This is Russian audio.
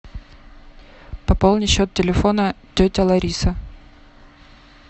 пополни счет телефона тетя лариса